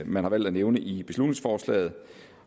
man har valgt at nævne i beslutningsforslaget